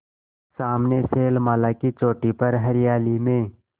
सामने शैलमाला की चोटी पर हरियाली में